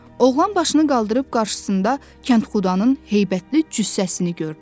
Oğlan başını qaldırıb qarşısında kəndxudanın heybətli cüssəsini gördü.